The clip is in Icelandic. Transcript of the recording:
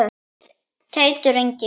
Teitur Ingi.